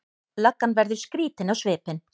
Löggan verður skrýtin á svipinn.